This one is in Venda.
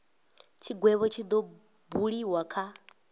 tshigwevho tshi do buliwa kha